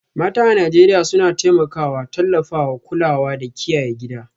Mata a Najeriya suna taimakawa, tallafawa, kulawa da kiyaye gida